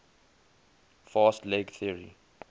fast leg theory